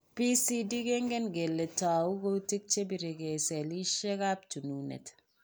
PCD kengen kele tou kutik che biregee selishekab chununet.